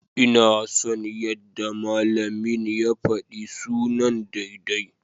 Ina son yadda malamin ya faɗi sunan daidai.